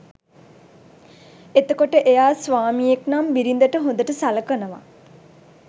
එතකොට එයා ස්වාමියෙක් නම් බිරිඳට හොඳට සලකනවා